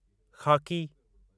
ख़ाकी